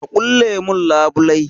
Ka ƙulle mun labulai.